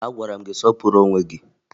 Agwara m gị sọpụrụ onwe gị!